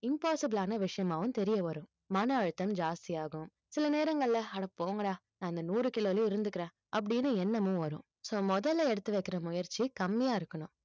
impossible லான விஷயமாவும் தெரிய வரும் மன அழுத்தம் ஜாஸ்தியாகும் சில நேரங்கள்ல அட போங்கடா நான் அந்த நூறு கிலோவுலயே இருந்துக்கிறேன் அப்படின்னு எண்ணமும் வரும் so முதல்ல எடுத்து வைக்கிற முயற்சி கம்மியா இருக்கணும்